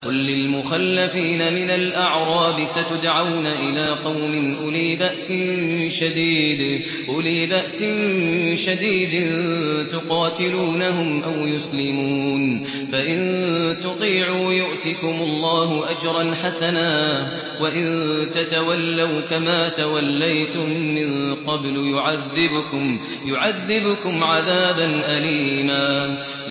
قُل لِّلْمُخَلَّفِينَ مِنَ الْأَعْرَابِ سَتُدْعَوْنَ إِلَىٰ قَوْمٍ أُولِي بَأْسٍ شَدِيدٍ تُقَاتِلُونَهُمْ أَوْ يُسْلِمُونَ ۖ فَإِن تُطِيعُوا يُؤْتِكُمُ اللَّهُ أَجْرًا حَسَنًا ۖ وَإِن تَتَوَلَّوْا كَمَا تَوَلَّيْتُم مِّن قَبْلُ يُعَذِّبْكُمْ عَذَابًا أَلِيمًا